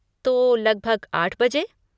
तो, लगभग आठ बजे?